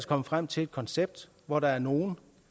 kommet frem til et koncept hvor der er nogle